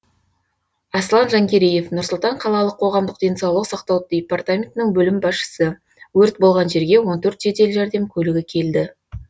аслан жангереев нұр сұлтан қалалық қоғамдық денсаулық сақтау департаментінің бөлім басшысы өрт болған жерге он төрт жедел жәрдем көлігі келді